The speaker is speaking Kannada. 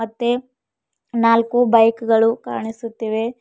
ತೆ ನಾಲ್ಕು ಬೈಕ್ ಗಳು ಕಾಣಿಸುತ್ತಿವೆ.